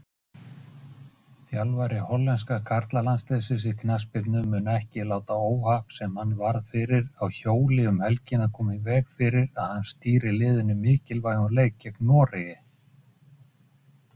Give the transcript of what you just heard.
Ég kaupi bollurnar, bý til morgunkaffið og kalla svo í ykkur.